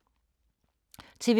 TV 2